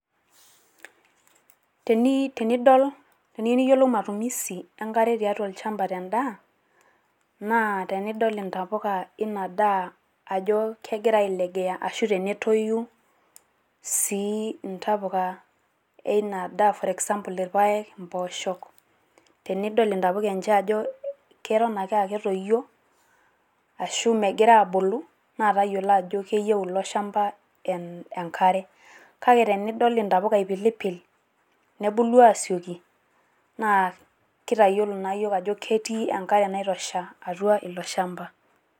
teniu tenidol, teneiyieu niyiolou matumusi enkare tiatua olchampa te ndaa, naa tenidol intapukaa eina daa ajo kegira ailegea ashu tenetoyu sii ntapuka ina daa for example irpaek, impoosho, tenidol intapuka enche ajo keton ake aa ketoyio, ashu megira aabulu naa tayiolo ajo keyieu ilo shampa enkare. kake tenidol intapuk ipilipl nebulu aasioki naa kitayiolo naa yiook ajo ketii enkare naitosha ilo shampa.